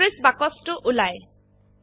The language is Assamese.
এন্ট্রিস বাক্সটো উলায়